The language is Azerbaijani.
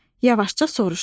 Yavaşca soruşdu: